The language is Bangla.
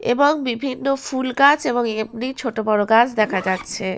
এবং বিভিন্ন ফুলগাছ এবং এমনি ছোটবড় গাছ দেখা যাচ্ছে।